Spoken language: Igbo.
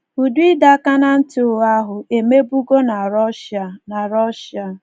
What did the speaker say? Ụdị ịdọ aka ná ntị ụgha ahụ emebụgọ na Russia. na Russia.